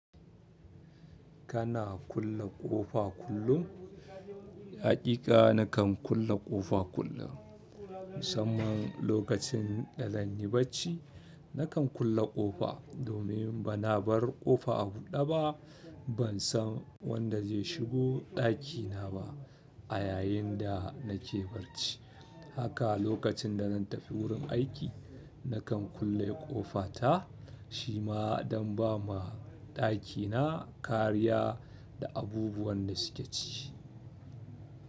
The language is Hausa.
Kana kulle ƙofa kullum? Haƙiƙa nakan kulle ƙofa kullum musamman lokacin da zan yi bacci. Nakan kulle ƙofa domin bana bar ƙofa a buɗe ba. Bansan wanda zai shigo ɗakina ba a yayin da nake bacci. Haka lokacin da zan tafi wurin aiki, nakan kulle ƙofa ta. Shi ma don ba ma ɗakina kariya da abubuwan da suke ci.